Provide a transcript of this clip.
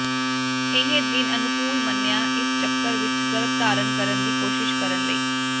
ਇਹ ਦਿਨ ਅਨੁਕੂਲ ਮੰਨਿਆ ਇਸ ਚੱਕਰ ਵਿੱਚ ਗਰਭ ਧਾਰਨ ਕਰਨ ਦੀ ਕੋਸ਼ਿਸ਼ ਕਰਨ ਲਈ